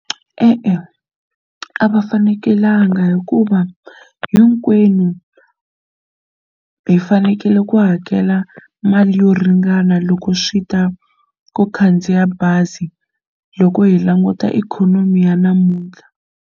E-e a va fanekelanga hikuva hinkwenu hi fanekele ku hakela mali yo ringana loko swi ta ko khandziya bazi loko hi languta ikhonomi ya namuntlha.